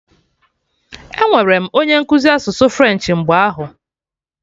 Enwere m onye nkụzi asụsụ French mgbe ahụ